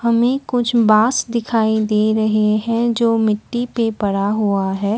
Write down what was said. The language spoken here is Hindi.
हमें कुछ बास दिखाई दे रहे हैं जो मिट्टी पर पड़ा हुआ है।